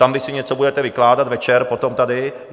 Tam vy si něco budete vykládat večer potom tady.